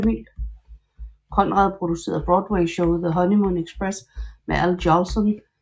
Conrad producerede Broadwayshowet The Honeymoon Express med Al Jolson i hovedrollen i 1913